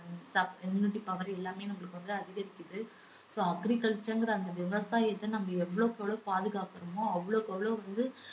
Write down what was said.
ஹம் ச~ immunity power எல்லாமே நம்மளுக்கு வந்து அதிகரிக்குது. so agriculture ங்குற அந்த விவசாயத்தை நம்ம எவ்வளவுக்கு எவ்ளோ பாதுகாக்கிறோமோ அவ்வளவுக்கு அவ்ளோ வந்து